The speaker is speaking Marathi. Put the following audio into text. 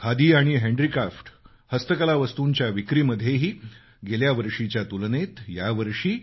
खादी आणि हँडीक्राफ्टहस्तकला वस्तूंच्या विक्रीमध्येही गेल्या वर्षीच्या तुलनेत यावर्षी